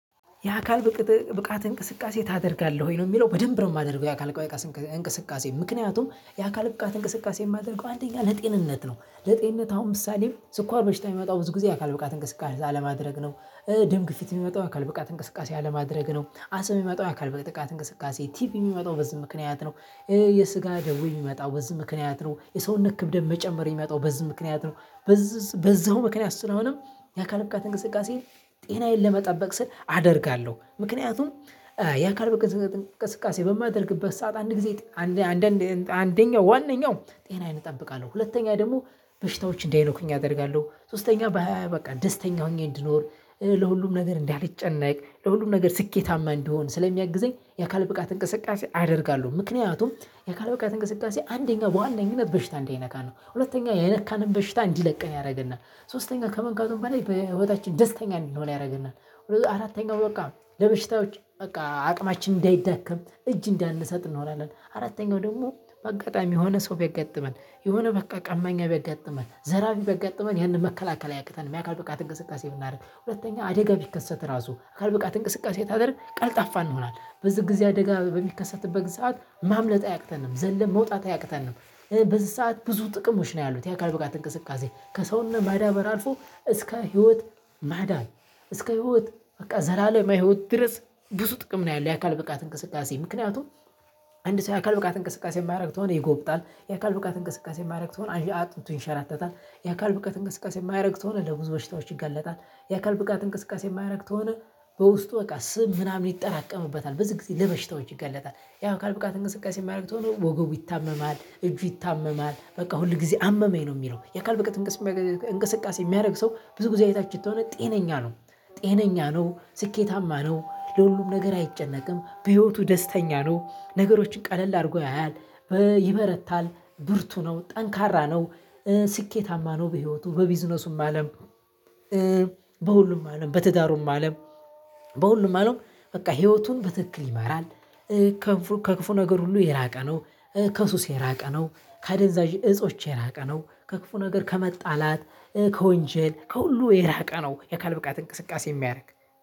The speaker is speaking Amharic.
የአካል ብቃት እንቅስቃሴ ታደርጋለህ ወይ? ነው የሚለው በደንብ ነው የማደርገው የአካል ብቃት እንቅስቃሴ ምክንያቱም የአካል ብቃት እንቅስቃሴ የማደርገው አንደኛ ለጤንነት ነው ለጤንነት አሁን ምሳሌ ስኳር በሽታ የሚመጣው ብዙ ጊዜ አካል ብቃት እንቅስቃሴ ካለማድረግ ነው። ደም ግፊት የሚመጣው አካል ብቃት እንቅስቃሴ አለማድረግ ነው። አስም የሚመጣው አካል ብቃት እንቅስቃሴ ቲቪ የሚመጣው በዚህ ምክንያት ነው። የስጋ ደዌ የሚመጣው በዚህ ምክንያት ነው፤ የሰውነት ክብደት መጨመር የሚመጣው በዚህ ምክንያት ነው፤ በዚሁ ምክንያት ስለሆነየአካል ብቃት እንቅስቃሴ ጤናዬን ለመጠበቅ ስል አደርጋለሁ። ምክንያቱም የአካል ብቃት እንቅስቃሴ በማደርግበት ሰዓት አንድ ጊዜ አንድ አንድ አንደኛው ዋናኛው ጤናዬን እጠብቃለሁ። ሁለተኛ ደግሞ በሽታዎች እንዳይነኩኝ አደርጋለሁ ሶስተኛ በሃያ በቃ ደስተኛ ሆኜ እንድኖር ለሁሉም ነገር እንዳልጨነቅ ለሁሉም ነገር ስኬታማ እንድሆን ስለሚያግዘኝ የአካል ብቃት እንቅስቃሴ አደርጋለሁ። ምክንያቱም የአካል ብቃት እንቅስቃሴ አንደኛ በዋነኝነት በሽታ እንዳይነካን ነው። ሁለተኛ የነካንን በሽታ እንዲለቅን ያደርግናል። ሶስተኛ ከመንካቱም በላይ በህይወታችን ደስተኛ እንድንሆን ያደርግናል። አራተኛው በቃ ለበሽታዎች በቃ አቅማችን እንዳይዳከም እጅ እንዳንሰጥ እንሆናለን። አራተኛው ደግሞ በአጋጣሚ የሆነ ሰው ቢያጋጥመን፤ የሆነ በቃ ቀማኛ ቢያጋጥመን፤ ዘራፊ ቢያጋጥመን ይህንን መከላከል አያቅተንም። የአካል ብቃት እንቅስቃሴ ብናድርግ ሁለተኛ አደጋ ቢከሰት ራሱ አካል ብቃት እንቅስቃሴ ታደርግን ቀልጣፋ እንሆናለን በዚህ ጊዜ አደጋ በሚከሰትበት ሰዓት ማምለጥ አያቅተንም። ዘለን መውጣት አያቅተንም። በዚህ ሰዓት ብዙ ጥቅሞች ነው ያሉት። የአካል ብቃት እንቅስቃሴ ከሰውነት ማዳበር አልፎ እስከ ህይወት ማዳበር እስከ ህይወት በቃ ዘላለማዊ ህይወት ድረስ ብዙ ጥቅም ነው ያለው። የአካል ብቃት እንቅስቃሴ ምክንያቱም አንድ ሰው የአካል ብቃት እንቅስቃሴ የማያደርግ ከሆነ ይጎብጣል፤ የአካል ብቃት እንቅስቃሴ የማያደርግ ከሆነ አጥንቱ ይንሸራተታል፤ የአካል ብቃት እንቅስቃሴ የማያደርግ ከሆነ ለብዙ በሽታዎች ይገለጣል፤ የአካል ብቃት እንቅስቃሴ የማያደርግ ከሆነ በውስጡ በቃ ስም ምናምን ይጠራቀምበታል። በዚህ ጊዜ ለበሽታዎች ይጋለጣል። ያው የአካል ብቃት እንቅስቃሴ የማያደርግ ከሆነ ወገቡ ይታመማል፤ እጁ ይታመማል፤ በቃ ሁል ጊዜ አመመኝ ነው የሚለው። የአካል ብቃት እንቅስቃሴ የሚያደርግ ሰው ብዙ ጊዜ አይታችሁት ከሆነ ጤነኛ ነው። ጤነኛ ነው፤ ስኬታማ ነው፤ ለሁሉም ነገር አይጨነቅም፤ በህይወቱ ደስተኛ ነው፤ ነገሮችን ቀለል አድርጎ ያያል። ይበረታል፤ ብልቱ ነው፤ ጠንካራ ነው። ስኬታማ ነው በህይወቱ በቢዝነሱም አለም በሁሉም አለም በትዳሩም አለም በሁሉም አለም በቃ ህይወቱን በትክክል ይማራል። ከክፉ ነገር ሁሉ የራቀ ነው። ከሱስ የራቀ ነው፤ ከአደንዛዥ እፆች የራቀ ነው፤ ከክፉ ነገር ከመጣላት፣ ከወንጀል ከሁሉ የራቀ ነው። የአካል ብቃት እንቅስቃሴ የሚያደርግ